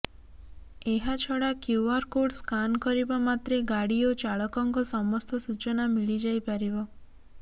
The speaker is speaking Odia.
ଏହା ଛଡା କ୍ୟୁଆର କୋଡ ସ୍କାନ କରିବା ମାତ୍ରେ ଗାଡି ଓ ଚାଳକଙ୍କ ସମସ୍ତ ସୂଚନା ମିଳିଯାଇପାରିବ